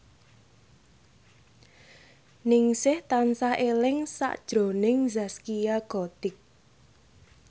Ningsih tansah eling sakjroning Zaskia Gotik